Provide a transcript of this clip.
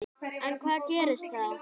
En hvað gerist þá?